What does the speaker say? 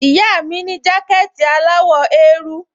Ìyá mi ní jákẹ̀tì aláwọ̀ eérú